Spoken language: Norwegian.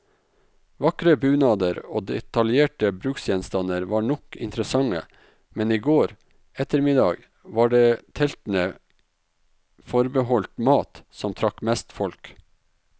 Vakre bunader og detaljerte bruksgjenstander var nok interessante, men i går ettermiddag var det teltene forbeholdt mat, som trakk mest folk.